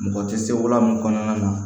Mɔgɔ tɛ se wa min kɔnɔna na